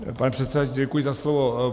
Pane předsedající děkuji za slovo.